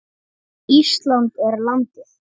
Ísland er landið.